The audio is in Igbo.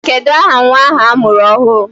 Kedụ aha nwa ahụ a mụrụ ọhụrụ?